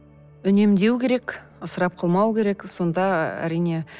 үнемдеу керек ысырап қылмау керек сонда әрине